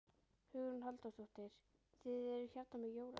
Hugrún Halldórsdóttir: Þið eruð hérna með jólaskraut?